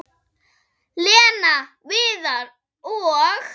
Lena, Viðar og